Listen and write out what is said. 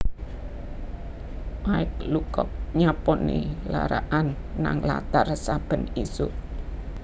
Mike Lucock nyaponi lara'an nang latar saben isuk